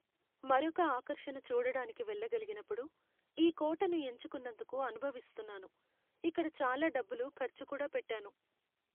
మరొక ఆకర్షణ చూడడానికి వెళ్ళగలిగినప్పుడు ఈ కోటను ఎంచుకున్నందుకు అనుభవిస్తున్నాను, ఇక్కడ చాలా డబ్బులు ఖర్చు కూడా పెట్టాను.